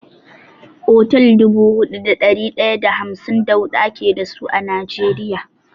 Otal dubu huɗu da ɗari ɗaya da hamsin da huɗu ake dasu a Najeriya.